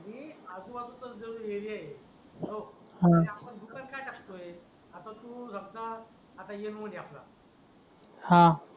ही बाजू जवळ आधी एरिया आहे तर आपण दुकान काय टाकतोय आता तू समजा आता ये मोजायचा